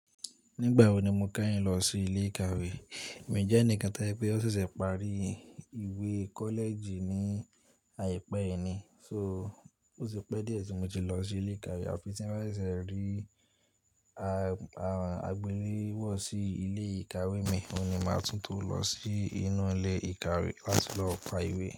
Nígbà wo ni mo kányìn lọ sí ilé ìkàwé? Emi jẹ́ ẹnìkan to se wipé ó ṣẹ̀ṣẹ̀ parí ìwé kọ́lẹ̀ẹ̀jì ní àìpẹ́ yìí ni, so ó ti pẹ́ díẹ̀ tí mo ti lọ sí ilé ìkàwé àfí tí ń bá ṣe ń rí àgbéléwò sí ilé ìkàwé mi, òun ni màá tún tò lọ sí inú ilé ìkàwé láti lọ ka ìwé.